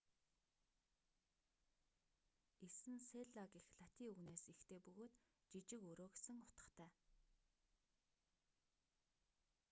эс нь селла гэх латин үгнээс эхтэй бөгөөд жижиг өрөө гэсэн утгатай